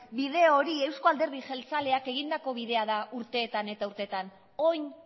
bide hori euzko alderdi jeltzaleak egindako bidea da urtetan eta urtetan orain